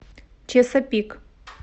чесапик